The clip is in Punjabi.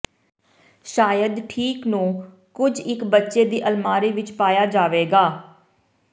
ਸ਼ਾਇਦ ਠੀਕ ਨੂੰ ਕੁਝ ਇੱਕ ਬੱਚੇ ਦੀ ਅਲਮਾਰੀ ਵਿੱਚ ਪਾਇਆ ਜਾਵੇਗਾ